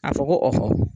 A fɔ ko